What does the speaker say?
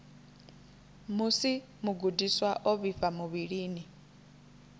musi mugudiswa o vhifha muvhilini